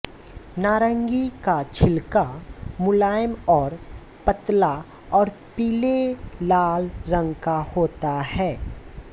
नारंगी का छिलका मुलायम और पतला और पीले लाल रंग का होता है